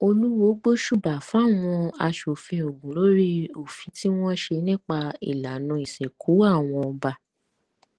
olùwọọ gbóṣùbà fáwọn aṣòfin ogun lórí òfin tí wọn ṣe nípa ìlànà ìsìnkú àwọn ọba